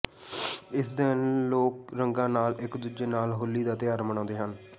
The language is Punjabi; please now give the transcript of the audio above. ਇਸ ਦਿਨ ਲੋਕ ਰੰਗਾਂ ਨਾਲ ਇੱਕ ਦੂਜੇ ਨਾਲ ਹੋਲੀ ਦਾ ਤਿਉਹਾਰ ਮਨਾਉਂਦੇ ਹਨ